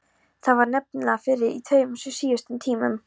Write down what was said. Það var nefnilega frí í tveimur síðustu tímunum.